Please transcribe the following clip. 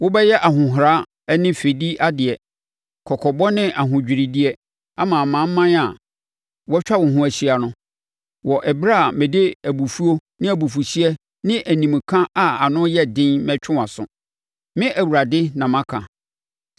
Wobɛyɛ ahohora ne fɛdideɛ, kɔkɔbɔ ne ahodwiredeɛ ama amanaman a wɔatwa wo ho ahyia no, wɔ ɛberɛ a mede abufuo ne abufuhyeɛ ne animka a ano yɛ den mɛtwe wʼaso. Me Awurade na maka.